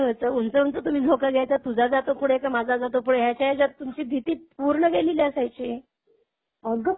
मग त्या झोक्यामुळे काय व्हायचं उंच उंच तुम्ही झोका घ्यायचात तुझा जातो पुढे की माझा जातो पुढे ह्याच्या ह्याच्यात तुमची भीती पूर्ण गेलेली असायची.